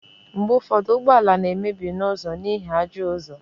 mgbe ụfọdụ ụgbọ ala na-emebi n'ụzọ n'ihi ajọ ụzọ